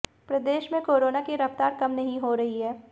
प्रदेश में कोरोना की रफ्तार कम नहीं हो रही है